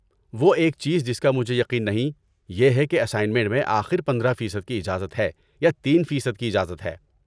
وہ ایک چیز جس کا مجھے یقین نہیں یہ ہے کہ اسائنمنٹ میں آخر پندرہ فیصد کی اجازت ہے یا تین فیصد کی اجازت ہے